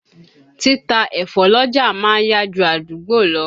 Títa ẹ̀fọ́ l'ọ́jà ma ń yá ju àdúgbò lọ.